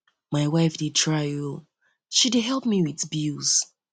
my wife dey try oo she dey help me with me with bills